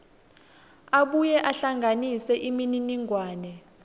abuye ahlanganise imininingwane